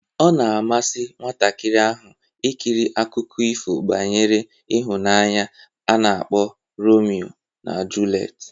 Ọ na-amasị nwatakịrị ahụ ikiri akụkọ ifo banyere ịhụnanya nke a na-akpọ Romio na julet